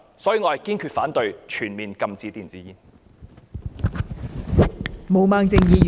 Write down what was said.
所以，我堅持反對全面禁止電子煙。